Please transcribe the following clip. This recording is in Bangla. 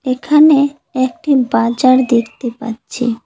এখানে একটি বাজার দেখতে পাচ্ছি।